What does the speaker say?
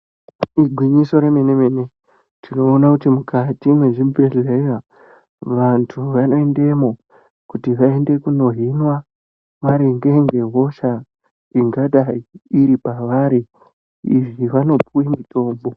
Igwinyiso remenemene tinoona kuti mukati mwezvibhehleya vantu vanoendemwo kuti vaende kunohinwa maringe ngehosha ingadai iripavari izvi vanopuwe mutombo.